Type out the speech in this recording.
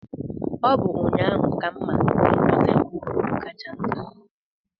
Ọ bụ ụnyaahụ ka m ma na Ugwu Tempo bụ ugwu kacha nta n'ụwa.